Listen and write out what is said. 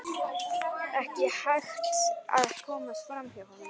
Ekki hægt að komast fram hjá honum.